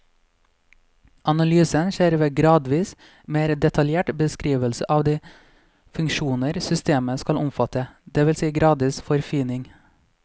Analysen skjer ved gradvis mer detaljert beskrivelse av de funksjoner systemet skal omfatte, det vil si gradvis forfining.